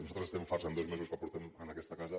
nosaltres estem farts en dos mesos que fa que som en aquesta casa